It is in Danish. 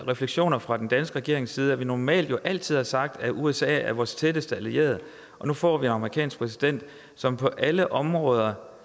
refleksioner fra den danske regerings side at vi normalt jo altid har sagt at usa er vores tætteste allierede og nu får vi en amerikansk præsident som på alle områder